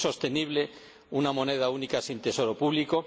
Es insostenible una moneda única sin tesoro público